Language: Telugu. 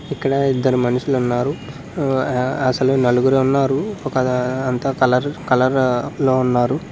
ఇక్కడ ఇద్దరు మనుషులు ఉన్నారు ఆ అసలు నలుగురు ఉన్నారు ఒక అంత కలర్ కలర్ లో ఉన్నారు.